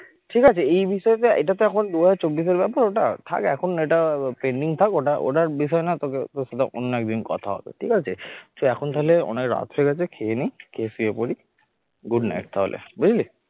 ঠিক আছে এই এই বিষয় টা এটা তো এখন দু হাজার চব্বিশএর ব্যাপার ওটা থাক এখন এটা pending থাক ওটা ওটা বিষয় না তোকে তোর সাথে অন্য একদিন কথা হবে ঠিক আছে তুই এখন তাহলে অনেক রাত হয়ে গেছে খেয়ে নি খেয়ে শুয়ে পরি good night তাহলে বুঝলি